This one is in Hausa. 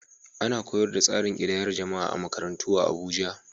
Ana koyar da tsarin ƙidayar jama’a a makarantu a Abuja.